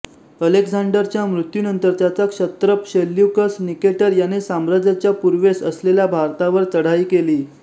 अलेक्झांडरच्या मृत्यूनंतर त्याचा क्षत्रप सेल्युकस निकेटर याने साम्राज्याचा पूर्वेस असलेल्या भारतावर चढाई केली